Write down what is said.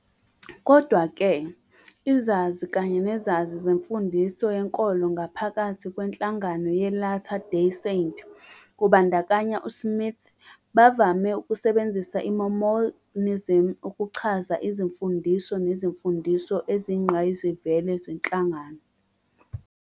Kodwa-ke, izazi kanye nezazi zemfudiso yenkolo ngaphakathi kwenhlangano yeLatter Day Saint, kubandakanya uSmith, bavame ukusebenzisa i- "Mormonism" ukuchaza izimfundiso nezimfundiso eziyingqayizivele zenhlangano.